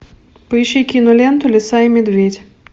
поищи киноленту лиса и медведь